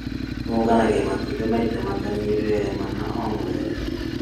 Unganagia matumbĩ maita matanyihĩire mana o mũthenya.